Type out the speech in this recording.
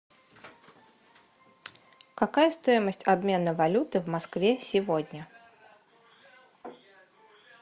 какая стоимость обмена валюты в москве сегодня